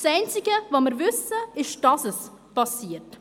Das Einzige was wir wissen, ist, dass es geschieht.